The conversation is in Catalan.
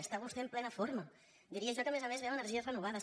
està vostè en plena forma diria jo que a més a més ve amb energies renovades